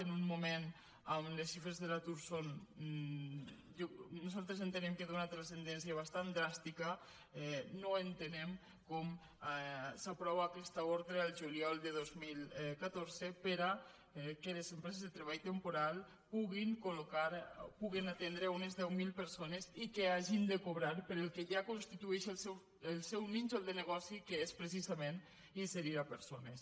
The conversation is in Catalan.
en un moment on les xifres d’atur són nosaltres entenem d’una transcendència bastant dràstica no entenem com s’aprova aquesta ordre el juliol de dos mil catorze perquè les empreses de treball temporal puguin atendre unes deu mil persones i que hagin de cobrar pel que ja constitueix el seu nínxol de negoci que és precisament inserir persones